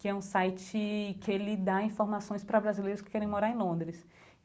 que é um site que ele dá informações para brasileiros que querem morar em Londres.